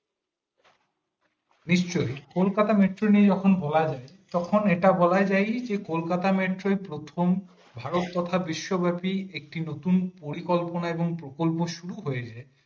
নিশ্চয় কলকাতা metro নিয়ে যখন বলা হয়েছে তখন এটা বলা যায় যে কলকাতা metro প্রথম ভারত তথা বিশ্ব ব্রথী একটি নতুন পরিকল্পনা এবং প্রকল্প শুরু হয়েছে